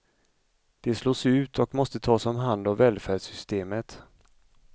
De slås ut och måste tas om hand av välfärdssystemet.